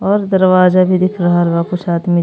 और दरवाजा भी दिख रहल बा ओकरे साथ में।